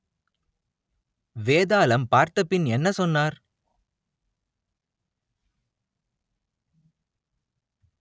வேதாளம் பார்த்த பின் என்ன சொன்னார்